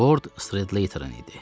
Ford Slayterin idi.